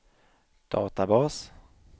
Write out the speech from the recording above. databas